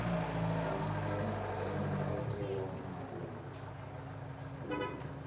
ya mokato wa moaho oo